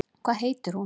Hvað heitir hún?